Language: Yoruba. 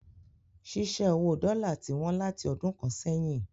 Ṣíṣẹ́ owó dọ́là ti wọ́n láti ọdún kan sẹ́yìn.